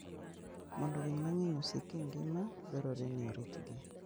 Mondo winy mang'eny osik e ngima, dwarore ni oritgi.